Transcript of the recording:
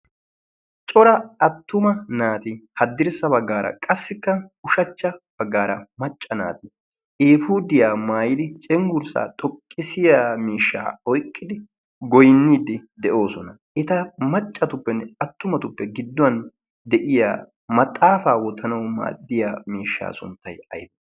cora attuma naati haddirssa baggaara qassikka ushachcha baggaara macca naati ifudiyaa maayidi cenggurssaa xoqqisiya miishshaa oyqqidi goynniiddi de'oosona eta maccatuppenne attumatuppe gidduwan de'iya maxaafaa wotanay maaddiya miishshaa sunttay ay